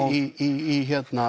í